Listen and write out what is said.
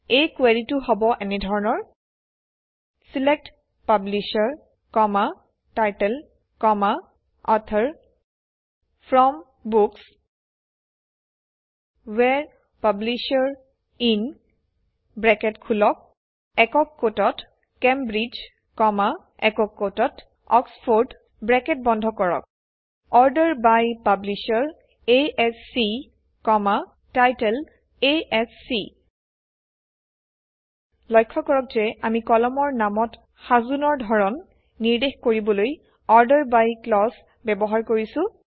এই কুৱেৰিটো হব এনে ধৰণৰ select publisher title author from books where publisher in Cambridge Oxford order by publisher ASC title ASC লক্ষ্য কৰক যে আমি কলমৰ নামত সাজোনৰ ধৰণ নিৰ্দেশ কৰিবলৈ অৰ্ডাৰ বাই ক্লজ ব্যৱহাৰ কৰিছোঁ